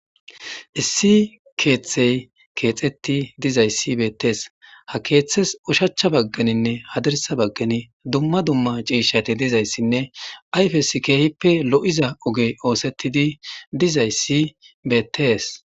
issi keeththey keexetti dizayssi beettees ha keeththes ushachcha bagganinne hadarsa baggani dumma dumma ciishati dizayssinne ayfes keehippe lo7iza ogey oosettidi dizayssi beettees